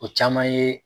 O caman ye